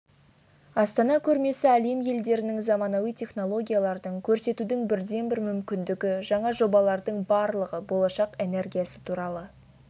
астана көрмесі әлем елдерінің заманауи технологиялардын көрсетудің бірден бір мүмкіндігі жаңа жобалардың барлығы болашақ энергиясы туралы